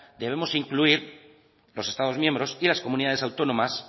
debemos incluir los estados miembros y las comunidades autónomas